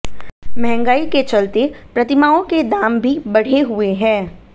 महंगाई के चलते प्रतिमाओं के दाम भी बढ़े हुए हैं